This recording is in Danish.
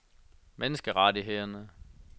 menneskerettighederne